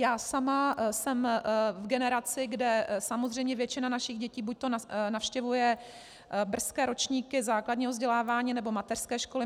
Já sama jsem v generaci, kde samozřejmě většina našich dětí buď navštěvuje brzké ročníky základního vzdělávání, nebo mateřské školy.